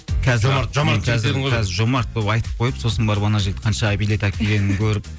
қазір жомарт болып айтып қойып сосын барып ана жігіт қанша билет әкелгенін көріп